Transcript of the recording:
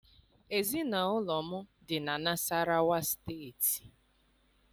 Ezinụlọ m dị na Nasarawa State